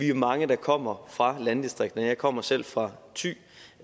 jo mange der kommer fra landdistrikterne jeg kommer selv fra thy